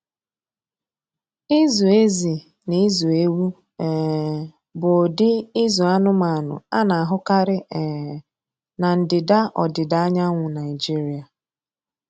Ịzụ ezi na ịzụ ewu um bụ ụdị ịzụ anụmanụ a na-ahụkarị um na ndịda ọdịda anyanwụ Nigeria.